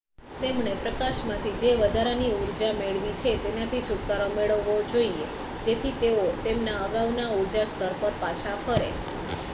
તેમણે પ્રકાશમાંથી જે વધારાની ઊર્જા મેળવી છે તેનાથી છુટકારો મેળવવો જોઈએ જેથી તેઓ તેમના અગાઉના ઊર્જા સ્તર પર પાછા ફરે